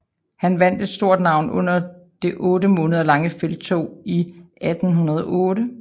Han vandt et stort navn under det otte måneder lange felttog i 1808